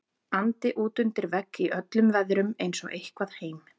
andi útundir vegg í öllum veðrum eins og eitthvað heim